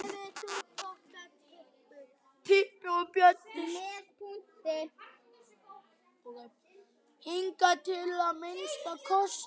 Hingað til að minnsta kosti.